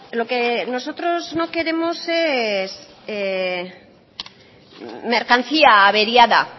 lo que nosotros no queremos es mercancía averiada